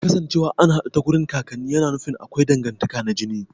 Kasancewa an haɗu ta kakanni na nufin akwai dangantaka na jini